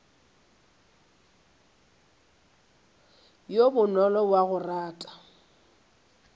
yo bonolo wa go rata